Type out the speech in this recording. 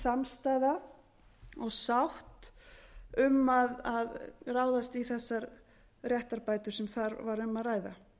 samstaða og sátt um að ráðast í þessar réttarbætur sem þar var um að ræða